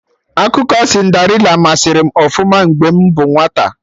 Akụkọ Cinderịla masari m ọfụma mgbe m bụ nwata